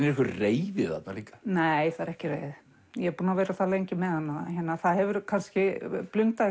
einhver reiði þarna líka nei það er ekki reiði ég er búin að vera það lengi með hana það hefur kannski blundað